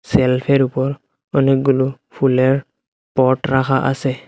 সেলফের উপর অনেকগুলো ফুলের পট রাখা আছে।